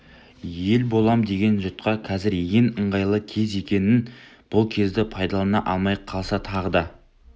ел болам деген жұртқа қазір ең ыңғайлы кез екенін бұл кезді пайдалана алмай қалса тағы да